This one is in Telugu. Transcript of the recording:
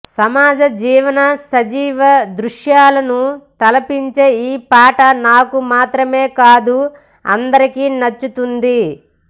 సమాజ జీవన సజీవ దృశ్యాలను తలపించే ఈ పాట నాకు మాత్రమే కాదు అందరికీ నచ్చుతుంది